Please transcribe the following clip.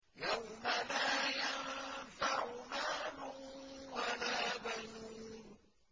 يَوْمَ لَا يَنفَعُ مَالٌ وَلَا بَنُونَ